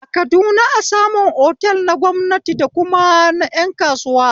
A kaduna a samun otal na gwamnati dakuma na ƴan kasuwa